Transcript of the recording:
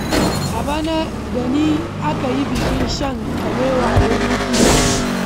A bana da ni aka yi bikin shan kabewa a Birnin Kudu.